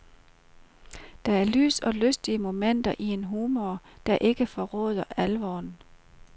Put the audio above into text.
Der er lys og lystige momenter og en humor, der ikke forråder alvoren.